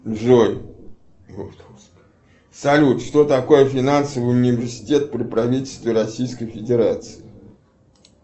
джой салют что такое финансовый университет при правительстве российской федерации